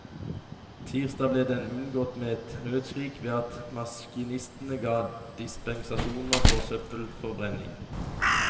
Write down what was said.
Tirsdag ble den unngått med et nødskrik ved at maskinistene ga dispensasjoner for søppelforbrenning.